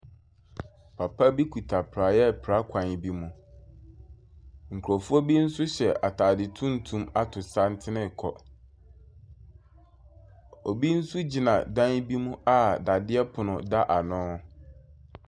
Papa bi kuta prae ɛpra kwan bi mu. Nkurofoɔ bi nso hyɛ ataade tuntum ato santene kɔ. Obi nso gyina dan bi mu a dadeɛ pono da ano.